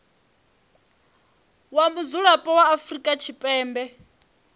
wa mudzulapo wa afrika tshipembe